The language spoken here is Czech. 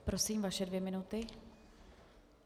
Prosím, vaše dvě minuty.